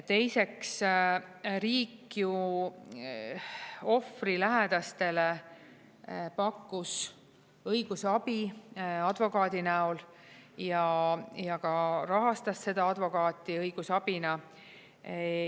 Teiseks, riik ju ohvri lähedastele pakkus õigusabi advokaadi näol ja ka rahastas seda advokaati õigusabina.